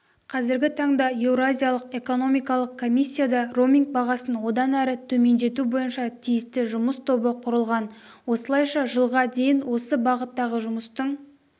қазіргі таңда еуразиялық экономикалық комиссияда роуминг бағасын одан әрі төмендету бойынша тиісті жұмыс тобы құрылған осылайша жылға дейін осы бағыттағы жұмыстың